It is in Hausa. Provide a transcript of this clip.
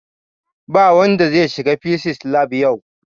Ba wanda zai shiga fisis lab yau!